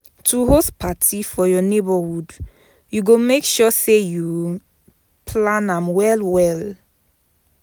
To host parti for your neighbourhood you go make sure say you plan am well well